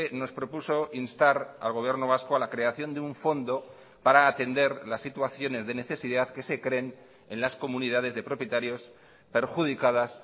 nos propuso instar al gobierno vasco a la creación de un fondo para atender las situaciones de necesidad que se creen en las comunidades de propietarios perjudicadas